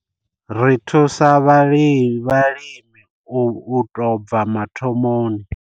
Ri thusa vhalimi u tou bva mathomoni.